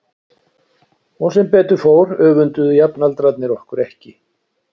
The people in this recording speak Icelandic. Og sem betur fór öfunduðu jafnaldrarnir okkur ekki.